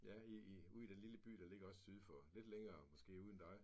Ja i i ude i den lille by der ligger også syd for lidt længere måske ude end dig